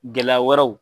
Gɛlɛya wɛrɛw